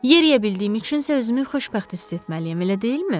Yeriyə bildiyim üçün isə özümü xoşbəxt hiss etməliyəm, elə deyilmi?